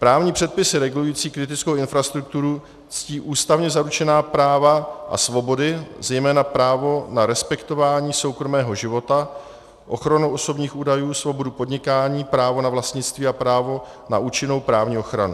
Právní předpisy regulující kritickou infrastrukturu ctí ústavně zaručená práva a svobody, zejména právo na respektování soukromého života, ochranu osobních údajů, svobodu podnikání, právo na vlastnictví a právo na účinnou právní ochranu.